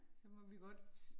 Så må vi godt